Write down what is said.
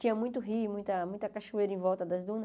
Tinha muito rio, muita muita cachoeira em volta das dunas.